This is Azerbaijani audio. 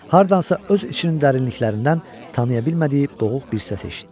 Hardansa öz içinin dərinliklərindən tanıya bilmədiyi boğuq bir səs eşitdi.